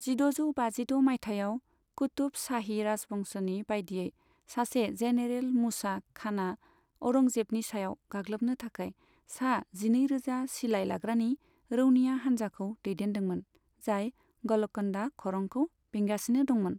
जिद'जौ बाजिद' माइथायाव, कुतुब शाही राजवंशनि बायदियै सासे जेनेरेल मूसा खाना औरंगजेबनि सायाव गाग्लोबनो थाखाय सा जिनैरोजा सिलाय लाग्रानि रौनिया हानजाखौ दैदेनदोंमोन, जाय ग'लकन्डा खरंखौ बेंगासिनो दंमोन।